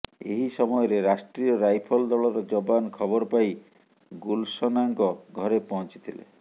ଏହି ସମୟରେ ରାଷ୍ଟ୍ରୀୟ ରାଇଫଲ ଦଳର ଯବାନ ଖବର ପାଇ ଗୁଲସନାଙ୍କ ଘରେ ପହଞ୍ଚିଥିଲେ